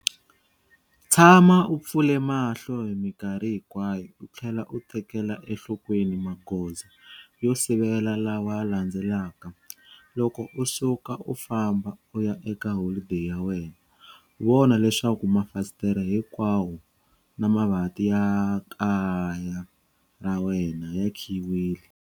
Tshama u pfule mahlo hi mikarhi hinkwayo u tlhela u tekela enhlokweni magoza yo sivela lawa landzelaka- Loko u suka u famba u ya eka holideyi ya wena, vona leswaku mafasitere hinkwawo, na mavanti ya kaya ra wena ya khiyiwile.